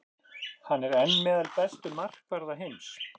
Hann er enn meðal bestu markvarða heims.